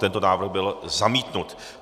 Tento návrh byl zamítnut.